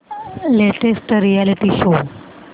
latest reality show